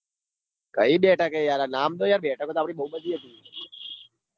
કઈ બેઠકે યાર નામ તો ડો બેઠક નું બેઠકો તો બૌ બધી હતી આપડી.